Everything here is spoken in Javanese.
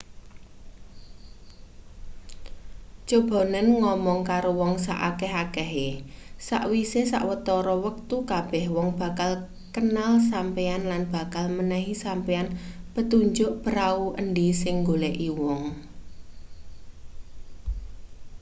cobanen ngomong karo wong saakeh-akehe sakwise sawetara wektu kabeh wong bakal kenal sampeyan lan bakal menehi sampeyan petunjuk prau endi sing nggoleki wong